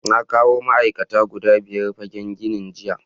Na kawo ma’aikata guda biyar fagen ginin jiya.